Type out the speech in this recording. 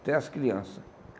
Até as crianças.